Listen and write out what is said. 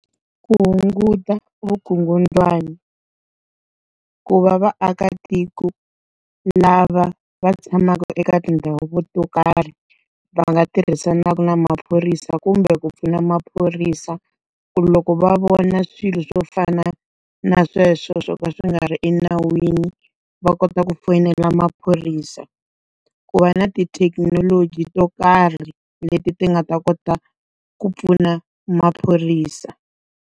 Ku hunguta vukungundwani. Ku va vaakatiko lava va tshamaka eka tindhawu to karhi va nga tirhisana na maphorisa kumbe ku pfuna maphorisa, ku loko va vona swilo swo fana na sweswo swo ka swi nga ri enawini, va kota ku fonela maphorisa. ku va na ti thekinoloji to karhi leti ti nga ta kota ku pfuna maphorisa.